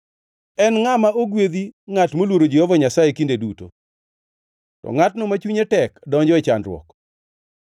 En ngʼama ogwedhi ngʼat moluoro Jehova Nyasaye kinde duto, to ngʼatno ma chunye tek donjo e chandruok.